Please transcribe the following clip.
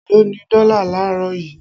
Eló ni dọ́là laarọ yìí?